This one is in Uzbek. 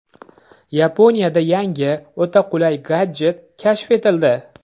Yaponiyada yangi, o‘ta qulay gadjet kashf etildi.